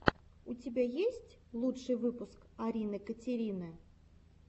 у тебя есть лучший выпуск арины катерины